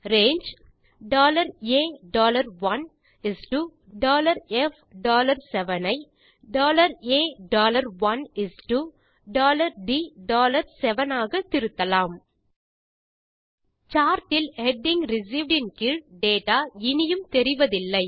range A1 is to F7 ஐ A1 is to D7 ஆக திருத்தலாம் சார்ட் இல் ஹெடிங் ரிசீவ்ட் ன் கீழ் டேட்டா இனியும் தெரிவதில்லை